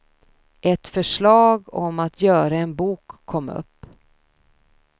Ett förslag om att göra en bok kom upp.